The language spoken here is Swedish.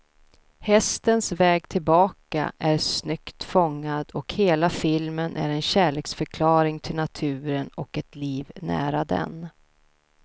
Hästens väg tillbaka är snyggt fångad, och hela filmen är en kärleksförklaring till naturen och ett liv nära den.